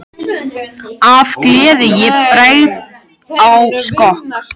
Af gleði ég bregð á skokk.